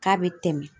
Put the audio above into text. K'a bɛ tɛmɛ